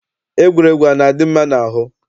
Egwuregwu ana-adị mma n'ahụ?